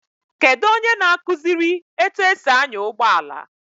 Kedu onye ga-akụziri etu esi anya ụgbọala?